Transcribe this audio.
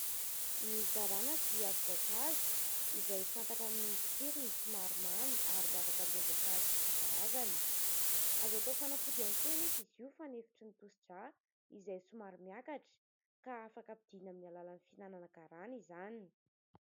Ny garana dia voankazo izay fantatra amin' ny tsirony somary mamy ary miavaka amin' ireo voankazo isankarazany. Azo atao fanafody ihany koa anefa izy io fanefitry ny tosi-drà izay somary miakatra ka afaka ampidinina amin' ny alalan' ny fihinanana garana izany.